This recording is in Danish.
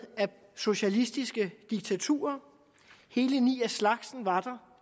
af socialistiske diktaturer hele ni af slagsen var